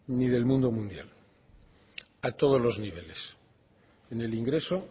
ni del mundo mundial a todos los niveles ni en ingreso